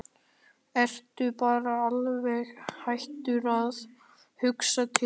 Ertu bara alveg hættur að hugsa til mín?